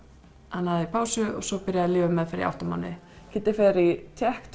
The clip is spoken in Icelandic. hann hafði pásu og svo byrjaði lyfjameðferð í átta mánuði Kiddi fer í tékk